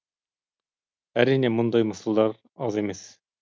әрине мұндай мысалдар аз емес